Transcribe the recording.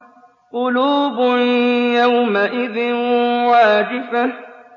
قُلُوبٌ يَوْمَئِذٍ وَاجِفَةٌ